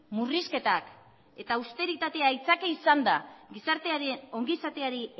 murrizketak eta austeritatea aitzaki izan da gizartearen ongi izateari